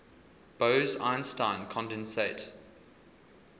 bose einstein condensate